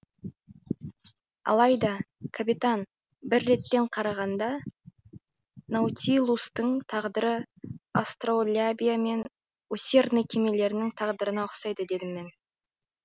алайда капитан бір реттен қарағанда наутилустың тағдыры астролябия мен усердный кемелерінің тағдырына ұқсайды дедім мен